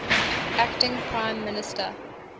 acting prime minister